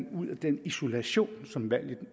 ud af den isolation som